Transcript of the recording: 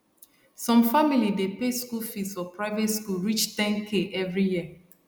some family dey pay school fees for private school reach 10k every year